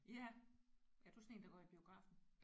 Ja er du sådan en der går i biografen?